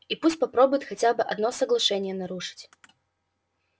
и пусть попробует хотя бы одно соглашение нарушить